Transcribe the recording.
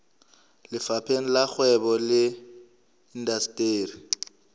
lefapheng la kgwebo le indasteri